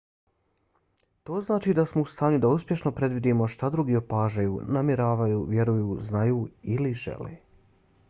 to znači da smo u stanju da uspješno predvidimo šta drugi opažaju namjeravaju vjeruju znaju ili žele